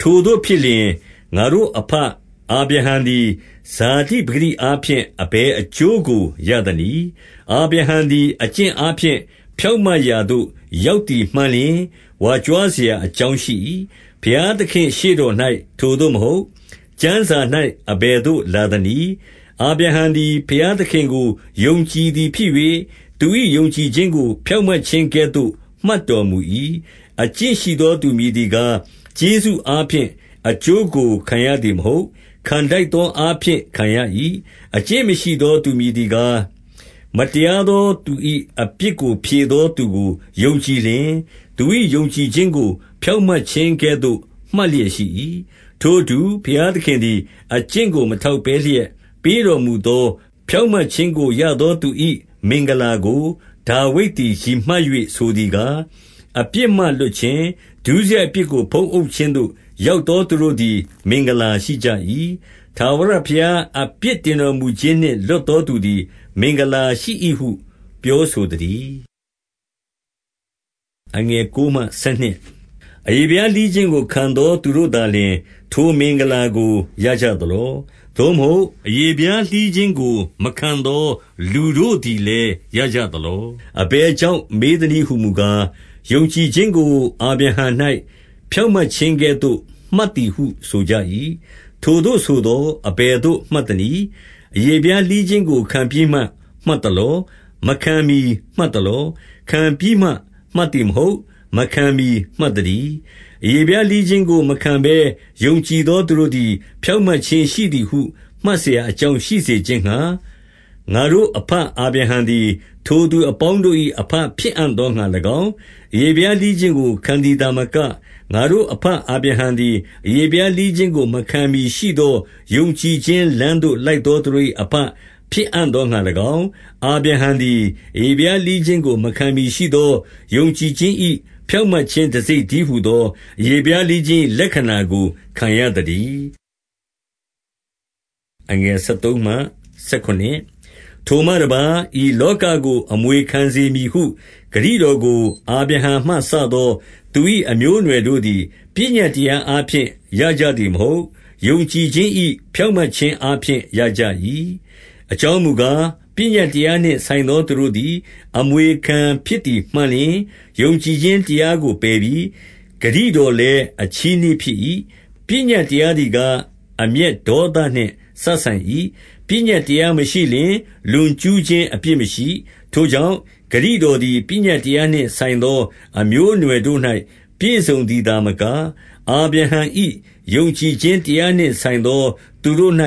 ထိုသို့ဖြစ်လျှင်၊ ငါတို့အဘအာဗြဟံသည် ဇာတိ ပကတိအားဖြင့် အဘယ်အကျိုးကိုရသနည်း။ 2 အာဗြဟံသည် အကျင့်အားဖြင့် ဖြောင့်မတ်ရာသို့ရောက်သည်မှန်လျှင် ဝါကြွားစရာအကြောင်းရှိ၏။ ဘုရားသခင့်ရှေ့တော်၌ ထိုသို့မဟုတ်။ 3 ကျမ်းစာ၌ အဘယ်သို့လာသနည်း။ အာဗြဟံသည်ဘုရားသခင်ကို ယုံကြည်သည်ဖြစ်၍၊ သူ၏ ယုံကြည်ခြင်းကို ဖြောင့်မတ်ခြင်းကဲ့သို့ မှတ်တော်မူ၏။ 4 အကျင့်ရှိသောသူမည်သည်ကား၊ ကျေးဇူးအားဖြင့်အကျိုးကို ခံရသည်မဟုတ်။ ခံထိုက်သော အားဖြင့်ခံရ၏။ 5 အကျင့်မရှိသောသူမည်သည်ကား၊ မတရားသောသူ၏အပြစ်ကိုဖြေသောသူကို ယုံကြည်လျှင်၊ သူ၏ယုံကြည်ခြင်းကို ဖြောင့်မတ်ခြင်းကဲ့သို့ မှတ်လျက်ရှိ၏။ 6 ထိုအတူ၊ ဘုရားသခင်သည် အကျင့်ကို မထောက်ဘဲလျက်ပေးတော်မူသော ဖြောင့်မတ်ခြင်းကို ရသော သူ၏မင်္ဂလာကို ဒါဝိဒ်သည် ရည်မှတ်၍ ဆိုသည်ကား၊ 7 အပြစ်မှလွှတ်ခြင်း၊ ဒုစရိုက်အပြစ်ကို ဖုံးအုပ်ခြင်းသို့ရောက်သော သူတို့သည် မင်္ဂလာရှိကြ၏။ 8 ထာဝရဘုရားအပြစ်တင်တော်မူခြင်းနှင့် လွတ်သောသူသည် မင်္ဂလာရှိ၏ဟု ပြောဆိုသတည်း။ 9 အရေဖျားလှီးခြင်းကိုခံသော သူတို့သာလျှင် ထိုမင်္ဂလာကို ရကြသလော။ သို့မဟုတ်အရေဖျားလှီးခြင်း ကိုမခံသော လူတို့သည်လည်း ရကြသလော။ အဘယ်ကြောင့်မေးသနည်းဟူမူကား၊ ယုံကြည်ခြင်းကို အာဗြဟံ၌ ဖြောင့်မတ်ခြင်းကဲ့သို့ မှတ်သည်ဟု ဆိုကြ၏။ 10 ထိုသို့ဆိုသော်အဘယ်သို့ မှတ်သနည်း။ အရေ ဖျားလှီးခြင်းကို ခံပြီးမှမှတ်သလော။ မခံမှီမှတ်သလော။ ခံပြီးမှမှတ်သည်မဟုတ်။ မခံမှီမှတ်သတည်း။ 11 အရေဖျားလှီးခြင်းကို မခံဘဲယုံကြည်သော သူတို့သည် ဖြောင့်မတ်ခြင်းရှိသည်ဟု မှတ်စရာ အကြောင်းရှိစေခြင်းငှါ၊ 12 ငါတို့အဘအာဗြဟံသည် ထိုသူအပေါင်းတို့၏ အဘဖြစ်အံ့သောငှါ၎င်း၊ အရေဖျားလှီးခြင်းကို ခံသည် သာမက၊ ငါတို့အဘအာဗြဟံသည် အရေဖျားလှီးခြင်းကို မခံမှီရှိသောယုံကြည်ခြင်းလမ်းသို့လိုက်သော သူတို့၏ အဘဖြစ်အံ့သောငှါ၎င်း၊ အာဗြဟံသည် အရေဖျားလှီးခြင်းကိုမခံမှီရှိသော ယုံကြည်ခြင်း၏ဖြောင့်မတ်ခြင်း တံဆိပ်တည်းဟူသော အရေဖျား လှီးခြင်း၏ လက္ခဏာကို ခံရသတည်း။ 13 ထိုမှတပါး၊ ဤလောကကို အမွေခံစေမည်ဟု ဂတိတော်ကို အာဗြဟံမှစသောသူ၏ အမျိုးအနွယ်တို့ သည် ပညတ်တရားအားဖြင့် ရကြသည်မဟုတ်။ ယုံကြည် ခြင်း၏ဖြောင့်မတ်ခြင်းအားဖြင့် ရကြ၏။ 14 အကြောင်းမူကား၊ ပညတ်တရားနှင့်ဆိုင်သော သူတို့သည် အမွေခံဖြစ်သည်မှန်လျှင်၊ ယုံကြည်ခြင်း တရားကိုပယ်ပြီ။ ဂတိတော်လည်း အချည်းနှီးဖြစ်၏။ 15 ပညတ်တရားသည်ကား အမျက်ဒေါသနှင့် စပ်ဆိုင်၏။ ပညတ်တရားမရှိလျှင်၊ လွန်ကျူးခြင်း အပြစ်မရှိ။ 16 ထိုကြောင့်၊ ဂတိတော်သည် ပညတ်တရားနှင့်ဆိုင်သော အမျိုးအနွယ်တို့၌ ပြည့်စုံသည်သာမက၊ အာဗြဟံ၏ယုံကြည်ခြင်း တရားနှင့်ဆိုင်သော သူတို့၌